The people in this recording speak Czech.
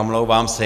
Omlouvám se.